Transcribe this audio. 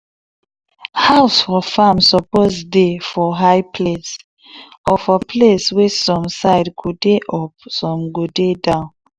house for farm suppose dey for high place or for place wey some side go dey up some dey go down.